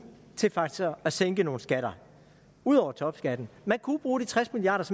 til faktisk at sænke nogle skatter ud over topskatten man kunne bruge de tres milliard